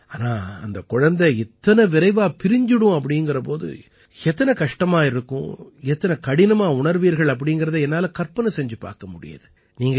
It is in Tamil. ஆனால் அந்தக் குழந்தை இத்தனை விரைவாகப் பிரிந்து விடும் எனும் போது எத்தனை கஷ்டமாக இருக்கும் எத்தனை கடினமாக உணர்வீர்கள் என்பதை என்னால் கற்பனை செய்து பார்க்க முடிகிறது